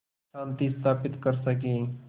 शांति स्थापित कर सकें